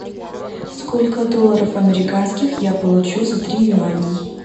сколько долларов американских я получу за три юаней